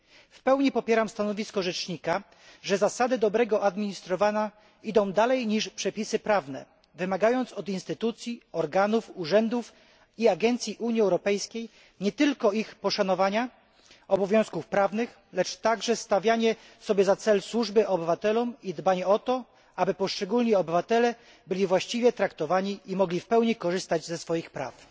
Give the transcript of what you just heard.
W pełni popieram stanowisko rzecznika, że zasady dobrego administrowania idą dalej niż przepisy prawne, wymagając od instytucji, organów, urzędów i agencji Unii Europejskiej nie tylko poszanowania obowiązków prawnych, lecz także stawiania sobie za cel służby obywatelom i dbania o to, aby poszczególni obywatele byli właściwie traktowani i mogli w pełni korzystać ze swoich praw.